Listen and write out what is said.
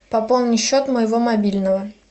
пополни счет моего мобильного